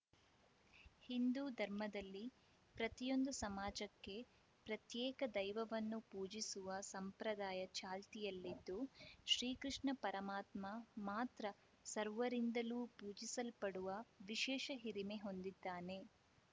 ಹಿಂದೂ ಧರ್ಮದಲ್ಲಿ ಪ್ರತಿಯೊಂದು ಸಮಾಜಕ್ಕೆ ಪ್ರತ್ಯೇಕ ದೈವವನ್ನು ಪೂಜಿಸುವ ಸಂಪ್ರದಾಯ ಚಾಲ್ತಿಯಲ್ಲಿದ್ದು ಶ್ರೀಕೃಷ್ಣ ಪರಮಾತ್ಮ ಮಾತ್ರ ಸರ್ವರಿಂದಲೂ ಪೂಜಿಸಲ್ಪಡುವ ವಿಶೇಷ ಹಿರಿಮೆ ಹೊಂದಿದ್ದಾನೆ